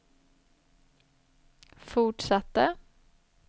fortsatte